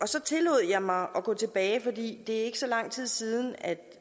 så tillod jeg mig at gå tilbage for det er ikke så lang tid siden at